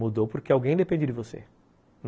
Mudou porque alguém depende de você.